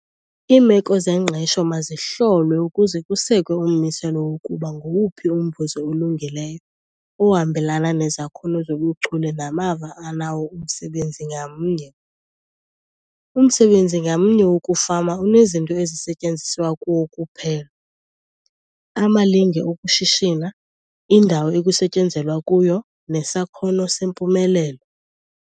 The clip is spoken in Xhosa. Iimeko zengqesho mazihlolwe ukuze kusekwe ummiselo wokuba ngowuphi umvuzo olungileyo ohambelana nezakhono zobuchule namava anawo umsebenzi ngamnye. Umsebenzi ngamnye wokufama unezinto ezisetyenziswa kuwo kuphela, amalinge okushishina, indawo ekusetyenzelwa kuyo nesakhono sempumelelo.